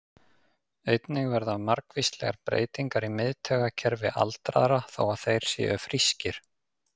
Einnig verða margvíslegar breytingar í miðtaugakerfi aldraðra, þó að þeir séu frískir.